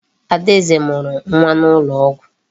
Adaeze mụrụ nwa n'ụlọ ọgwụ.